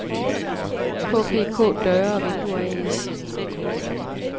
KPK Døre og Vinduer A/S